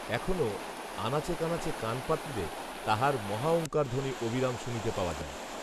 এখনও আনাচে কানাচে কান পাতিলে তাহার মহাওঙ্কারধ্বনি অবিরাম শুনিতে পাওয়া যায়